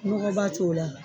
Mɔgɔ ba t'o la.